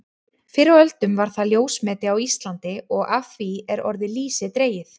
Fyrr á öldum var það ljósmeti á Íslandi og af því er orðið lýsi dregið.